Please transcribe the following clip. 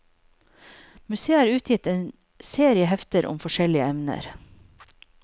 Museet har utgitt en serie hefter om forskjellige emner.